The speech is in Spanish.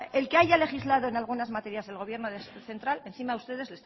el que haya legislado en algunas materias el gobierno central encima ustedes